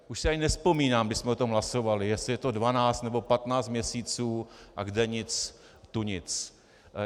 Už si ani nevzpomínám, kdy jsme o tom hlasovali, jestli je to 12 nebo 15 měsíců - a kde nic tu nic.